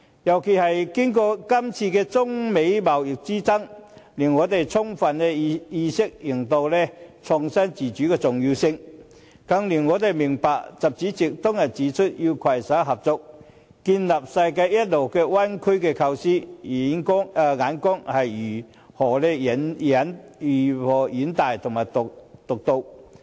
尤其是經過今次中美貿易之爭，令我們充分認識創新自主的重要性，更令我們明白習主席當日指出，要攜手合作建立世界一流灣區的構思，眼光是如何遠大和獨到。